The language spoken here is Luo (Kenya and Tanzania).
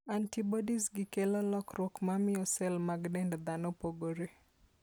Antibodiesgi kelo lokruok mamiyo cell mag dend dhano pogore.